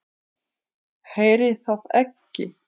Heyri það ekki.